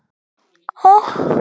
ganga frá